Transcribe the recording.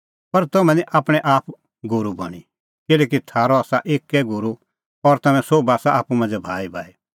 पर तम्हैं निं आपणैं आप गूरू बणीं किल्हैकि थारअ आसा एक्कै गूरू और तम्हैं सोभ आसा आप्पू मांझ़ै भाईभाई